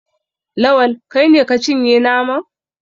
Lawal, kai ne ka cinye naman?